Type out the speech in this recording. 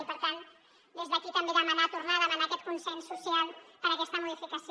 i per tant des d’aquí també demanar tornar a demanar aquest consens social per a aquesta modificació